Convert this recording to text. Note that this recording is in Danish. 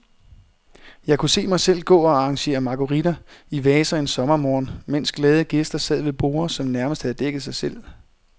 Jeg kunne se mig selv gå og arrangere marguritter i vaser en sommermorgen, mens glade gæster sad ved borde, som nærmest havde dækket sig selv.